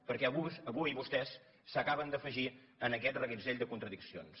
perquè avui vostès s’acaben d’afegir en aquest reguitzell de contradiccions